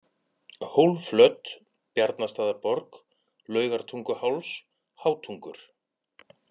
Hólflöt, Bjarnastaðarborg, Laugartunguháls, Hátungur